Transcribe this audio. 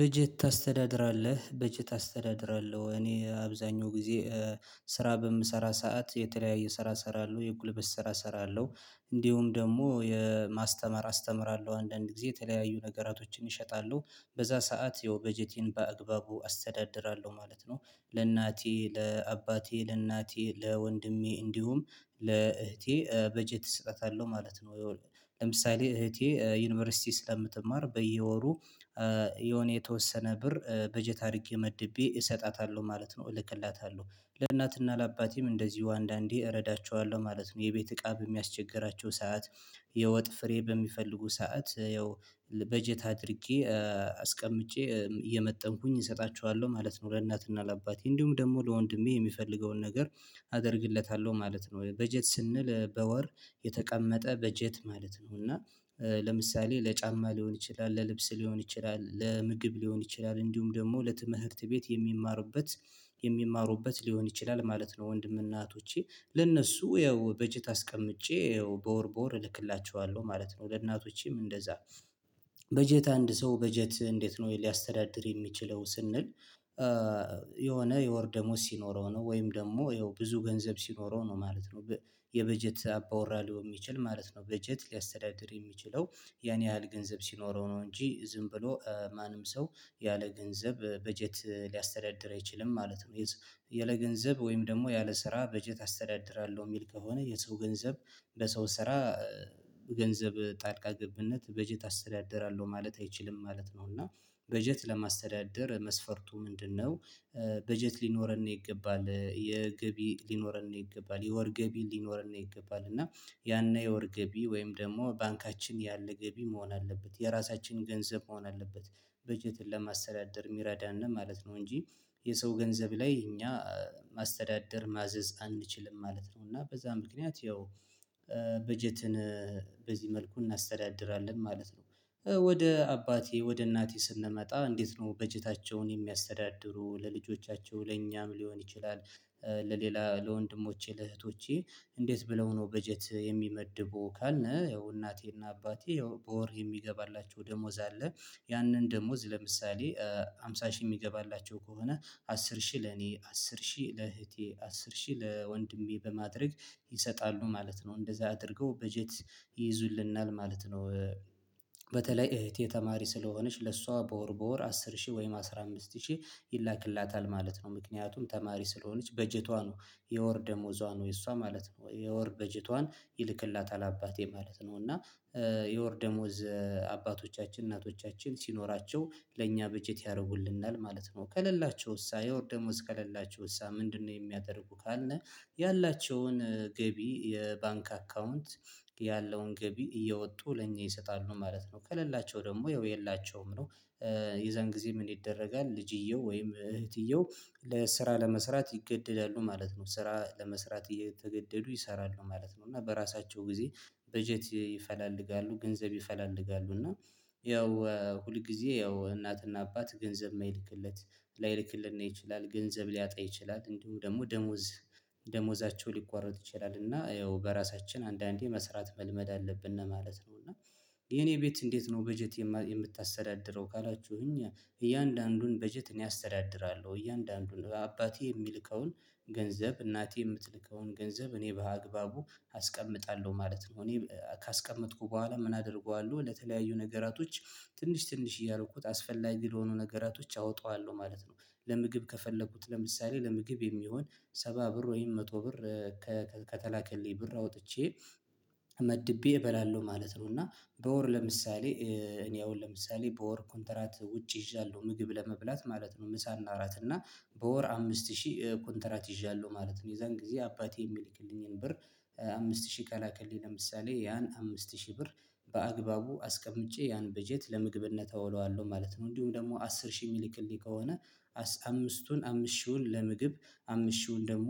በጀት ታስተዳድራለህ በጀት አስተዳድራለሁ እኔ አብዛኛው ጊዜ ስራ በምሰራ ሰዓት የተለያየ ሰራ ሰራለው የጉልበት ሰራ ሰራለው። እንዲሁም ደግሞ የማስተማር አስተምራለሁ አንዳንድ ጊዜ የተለያዩ ነገራቶችን ይሸጣሉ በዛ ሰዓት ያው በጀቴን በአግባቡ አስተዳድራለሁ ማለት ነው። ለእናቴ ለአባቴ ለእናቴ ለወንድሜ እንዲሁም ለእህቴ በጀት ሰጣታለው ማለት ነው። ለምሳሌ እህቴ ዩኒቨርሲቲ ስለምትማር በየወሩ የሆነ የተወሰነ ብር በጀት አርጌ መድቤ እሰጣታለሁ ማለት ነው እልክላታለሁ። ለእናትና ለአባቴም እንደዚሁ አንዳንዴ እረዳቸዋለሁ ማለት ነው። የቤት እቃ በሚያስቸግራቸው ሰዓት የወጥ ፍሬ በሚፈልጉ ሰዓት ያው በጀት አድርጌ አስቀምጬ እየመጠንኩኝ እሰጣችኋለሁ ማለት ነው። ለእናትና ለአባቴ እንዲሁም ደግሞ ለወንድሜ የሚፈልገውን ነገር አደርግለታለሁ ማለት ነው። በጀት ስንል በወር የተቀመጠ በጀት ማለት ነው። እና ለምሳሌ ለጫማ ሊሆን ይችላል ለልብስ ሊሆን ይችላል ለምግብ ሊሆን ይችላል እንዲሁም ደግሞ ለትምህርት ቤት የሚማሩበት የሚማሩበት ሊሆን ይችላል ማለት ነው። ወንድም እህቶቼ ለእነሱ ያው በጀት አስቀምጬ ያው በወር በወር እልክላቸዋለሁ ማለት ነው። ለእናቶቼም እንደዛ በጀት አንድ ሰው በጀት እንዴት ነው? ሊያስተዳድር የሚችለው ስንል የሆነ የወር ደሞዝ ሲኖረው ነው ወይም ደሞ ያው ብዙ ገንዘብ ሲኖረው ነው ማለት ነው። የበጀት አባወራ ሊሆን የሚችል ማለት ነው። በጀት ሊያስተዳድር የሚችለው ያን ያህል ገንዘብ ሲኖረው ነው። እንጂ ዝም ብሎ ማንም ሰው ያለ ገንዘብ በጀት ሊያስተዳድር አይችልም ማለት ነው። ያለ ገንዘብ ወይም ደግሞ ያለ ስራ በጀት አስተዳድራለሁ የሚል ከሆነ የሰው ገንዘብ ለሰው ስራ በገንዘብ ጣልቃ ገብነት በጀት አስተዳደራለሁ ማለት አይችልም ማለት ነው። እና በጀት ለማስተዳደር መስፈርቱ ምንድነው? በጀት ሊኖረን ይገባል የገቢ ሊኖረን ይገባል የወር ገቢ ሊኖረን ይገባል። እና ያነ የወር ገቢ ወይም ደግሞ ባንካችን ያለ ገቢ መሆን አለበት የራሳችን ገንዘብ መሆን አለበት በጀትን ለማስተዳደር የሚረዳን ማለት ነው። እንጂ የሰው ገንዘብ ላይ እኛ ማስተዳደር ማዘዝ አንችልም ማለት ነው። እና በዛ ምክንያት ያው በጀትን በዚህ መልኩ እናስተዳድራለን ማለት ነው። ወደ አባቴ ወደ እናቴ ስንመጣ እንዴት ነው በጀታቸውን የሚያስተዳድሩ ለልጆቻቸው ለእኛም ሊሆን ይችላል? ለሌላ ለወንድሞቼ ለእህቶቼ እንዴት ብለው ነው በጀት የሚመድቡ ካልነ ያው እናቴና አባቴ በወር የሚገባላቸው ደሞዝ አለ። ያንን ደሞዝ ለምሳሌ ሃምሳ ሺህ የሚገባላቸው ከሆነ አስር ሺ ለኔ አስር ሺ ለእህቴ አስር ሺ ለወንድሜ በማድረግ ይሰጣሉ ማለት ነው። እንደዛ አድርገው በጀት ይይዙልናል ማለት ነው። በተለይ እህቴ ተማሪ ስለሆነች ለሷ በወር በወር አስር ሺህ ወይም አስራ አምስት ሺህ ይላክላታል ማለት ነው። ምክንያቱም ተማሪ ስለሆነች በጀቷ ነው የወር ደሞዟ ነው የእሷ ማለት ነው የወር በጀቷን ይልክላታል አባቴ ማለት ነው። እና የወር ደሞዝ አባቶቻችን እናቶቻችን ሲኖራቸው ለእኛ በጀት ያረጉልናል ማለት ነው። ከሌላቸውሳ የወር ደሞዝ ከሌላቸውሳ ምንድነው? የሚያደርጉ ካልነ ያላቸውን ገቢ የባንክ አካውንት ያለውን ገቢ እየወጡ ለኛ ይሰጣሉ ማለት ነው። ከለላቸው ደሞ ያው የላቸውም ነው። የዛን ጊዜ ምን ይደረጋል? ልጅየው ወይም እህትየው ለስራ ለመስራት ይገደዳሉ ማለት ነው ስራ ለመስራት እየተገደዱ ይሰራሉ ማለት ነው። እና በራሳቸው ጊዜ በጀት ይፈላልጋሉ ገንዘብ ይፈላልጋሉ እና ያው ሁል ጊዜ ያው እናትና አባት ገንዘብ ማይልክለት ላይልክልን ይችላል ገንዘብ ሊያጣ ይችላል እንዲሁ ደሞ ደሞዝ ደሞዛቸው ሊቋረጥ ይችላል። እና ያው በራሳችን አንዳንዴ መስራት መልመድ አለብነ ማለት ነው። እና የኔ ቤት እንዴት ነው? በጀት የምታስተዳድረው ካላችሁኝ እያንዳንዱን በጀት እኔ አስተዳድራለሁ እያንዳንዱን አባቴ የሚልከውን ገንዘብ እናቴ የምትልከውን ገንዘብ እኔ በአግባቡ አስቀምጣለሁ ማለት ነው። እኔ ካስቀመጥኩ በኋላ ምን አደርገዋለሁ ለተለያዩ ነገራቶች ትንሽ ትንሽ እያልኩት አስፈላጊ ለሆኑ ነገራቶች አወጣዋለሁ ማለት ነው። ለምግብ ከፈለኩት ለምሳሌ ለምግብ የሚሆን ሰባ ብር ወይም መቶ ብር ከተላከልኝ ብር አውጥቼ መድቤ እበላለሁ ማለት ነው። እና በወር ለምሳሌ እኔ አሁን ለምሳሌ በወር ኩንተራት ውጪ ይዣለሁ ምግብ ለመብላት ማለት ነው። ምሳ እና እራት እና በወር አምስት ሺህ ኮንትራት ይዣለሁ ማለት ነው። የዛን ጊዜ አባቴ የሚልክልኝን ብር አምስት ሺህ ከላከልኝ ለምሳሌ ያን አምስት ሺህ ብር በአግባቡ አስቀምጬ ያን በጀት ለምግብነት አውለዋለሁ ማለት ነው። እንዲሁም ደሞ አስር ሺህ የሚልክልኝ ከሆነ አምስቱን አምስ ሺውን ለምግብ አምስት ሺህውን ደግሞ